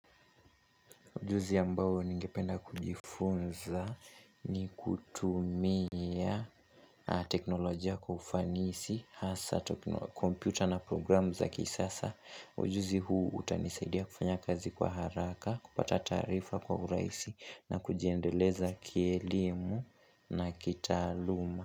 Ujuzi ambayo ningependa kujifunza ni kutumia teknolojia kufanisi, hasa, komputa na programu za kisasa. Ujuzi huu utanisaidia kufanya kazi kwa haraka, kupata tarifa kwa urahisi na kujiendeleza kielimu na kitaaluma.